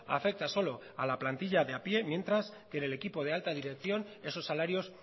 afecta solo a la plantilla de a pie mientras que en el equipo de alta dirección esos salarios